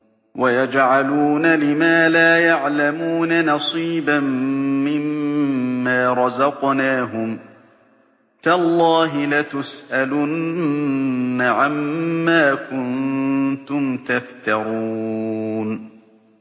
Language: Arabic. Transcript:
وَيَجْعَلُونَ لِمَا لَا يَعْلَمُونَ نَصِيبًا مِّمَّا رَزَقْنَاهُمْ ۗ تَاللَّهِ لَتُسْأَلُنَّ عَمَّا كُنتُمْ تَفْتَرُونَ